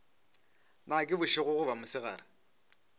na ke bošego goba mosegare